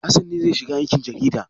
Hassan ne zai shiga aikin jarida.